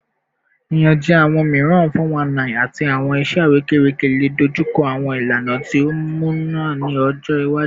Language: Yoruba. Iyanjẹ awọn miiran (419) ati awọn iṣẹ arekereke le dojuko awọn ilana ti o muna ni ọjọ iwaju